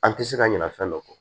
An tɛ se ka ɲina fɛn dɔ kɔ